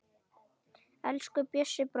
Elsku Bjössi bróðir.